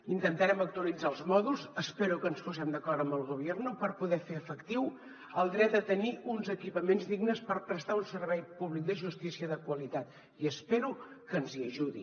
intentarem actualitzar els mòduls espero que ens posem d’acord amb el gobierno per poder fer efectiu el dret a tenir uns equipaments dignes per prestar un servei públic de justícia de qualitat i espero que ens hi ajudi